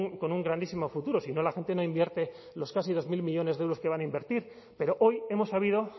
con un grandísimo futuro si no la gente no invierte los casi dos mil millónes de euros que van a invertir pero hoy hemos sabido